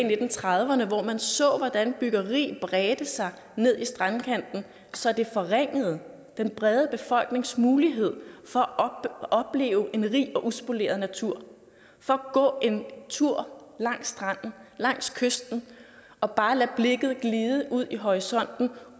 nitten trediverne hvor man så hvordan byggeri bredte sig ned i strandkanten så det forringede den brede befolknings mulighed for at opleve en rig og uspoleret natur og for at gå en tur langs stranden langs kysten og bare lade blikket glide ud i horisonten